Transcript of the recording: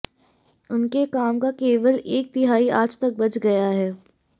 उनके काम का केवल एक तिहाई आज तक बच गया है